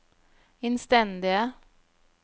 innstendige